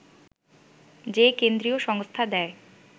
যে কেন্দ্রীয় সংস্থা দেয়